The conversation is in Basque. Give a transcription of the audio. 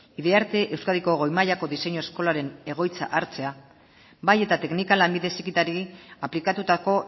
euskadiko goi mailako diseinu eskolaren egoitza hartzea bai eta teknika lanbide heziketari aplikatutako